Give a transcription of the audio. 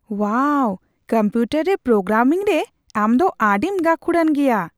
ᱳᱣᱟᱣ! Computer ᱨᱮ programming ᱨᱮ ᱟᱢ ᱫᱚ ᱟᱹᱰᱤᱢ ᱜᱟᱹᱠᱷᱩᱲᱟᱱ ᱜᱮᱭᱟ ᱾